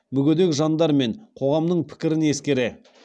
мүгедек жандар мен қоғамның пікірін ескере